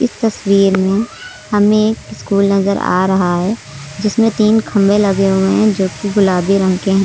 तस्वीर में हमें एक स्कूल नजर आ रहा है जिसमें तीन खंभे लगे हुए हैं जो कि गुलाबी रंग के हैं।